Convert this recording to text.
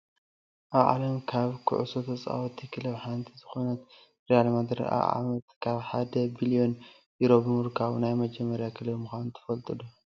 ኣብ ዓለም ካብ ኩዕሶ ተፃወቲ ክለብ ሓንቲ ዝኮነት ሪያል ማድሪድ ኣብ ዓመት ካብ 1 ቢሊየን ዩሮ ብምርካቡ ናይ መጀመርያ ክለብ ምኳኑ ትፈልጡ ዶ ?